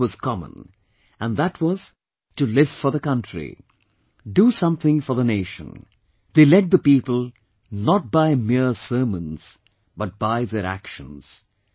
One thing was common and that was to live for the country, do something for the nation; they led the people not by mere sermons but by their actions